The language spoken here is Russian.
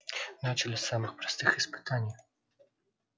начали с самых простых испытаний